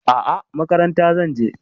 A'a, makaranta zan je.